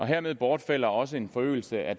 hermed bortfalder også en forøgelse af